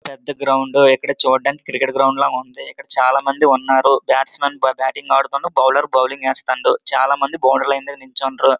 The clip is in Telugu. పెద్ద గ్రౌండ్ ఇక్కడ చూడడానికి క్రికెట్ గ్రౌండ్ లాగా ఉన్నది ఇక్కడ చాలా మంది ఉన్నారు బాట్స్మన్ బాటింగ్ ఆడుతున్నాడు బౌలర్ బౌలింగ్ వేస్తుండు. చాలా మంది బోర్డుర్ లైన్ మీద నించుడ్రు.